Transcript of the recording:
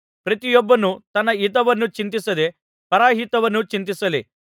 ಪ್ರತಿಯೊಬ್ಬನು ತನ್ನ ಹಿತವನ್ನು ಚಿಂತಿಸದೇ ಪರಹಿತವನ್ನು ಚಿಂತಿಸಲಿ